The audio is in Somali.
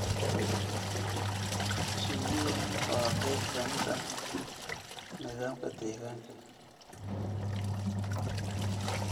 Shinnidu waa qayb ka mid ah nidaamka deegaanka.